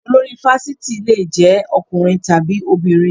Olori fáfitì le jẹ́ ọkùnrin tàbí obìnrin.